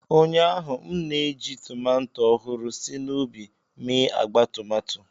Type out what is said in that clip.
Ụnyaahụ, m na-eji tomato ọhụrụ si n'ubi mee agba tomato.